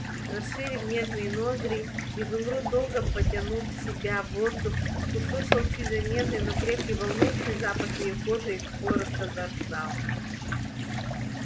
расширив нежные ноздри изумруд долго потянул в себя воздух услышал чуть заметный но крепкий волнующий запах её кожи и коротко заржал